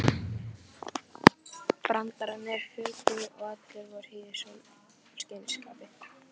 Brandararnir fuku og allir voru í sólskinsskapi.